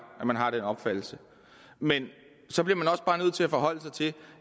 at man har den opfattelse men så bliver man også bare nødt til at forholde sig til